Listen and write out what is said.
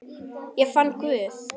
Ég fann Guð.